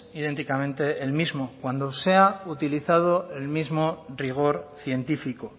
idénticamente el mismo cuando sea utilizado el mismo rigor científico